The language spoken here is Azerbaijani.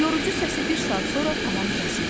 Yorucu səsi bir saat sonra tamam kəsildi.